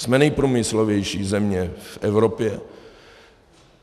Jsme nejprůmyslovější země v Evropě.